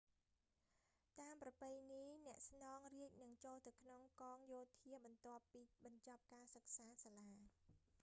តាមប្រពៃណី អ្នកស្នងរាជនឹងចូលទៅក្នុងកងយោធាបន្ទាប់ពីបញ្ចប់ការសិក្សាសាលា